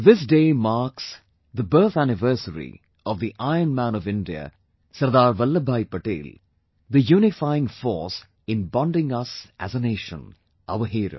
This day marks the birth anniversary of the Iron Man of India, Sardar Vallabhbhai Patel, the unifying force in bonding us as a Nation; our Hero